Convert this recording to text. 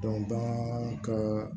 bagan ka